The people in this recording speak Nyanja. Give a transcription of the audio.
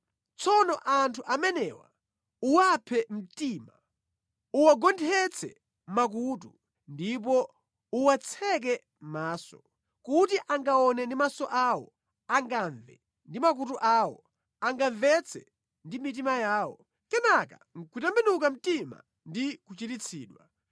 Tsono anthu amenewa uwaphe mtima; uwagonthetse makutu, ndipo uwatseke mʼmaso. Mwina angaone ndi maso awo, angamve ndi makutu awo, angamvetse ndi mitima yawo, kenaka ndi kutembenuka mtima ndi kuchiritsidwa.”